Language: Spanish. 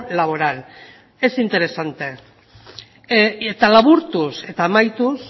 laboral es interesante eta laburtuz eta amaituz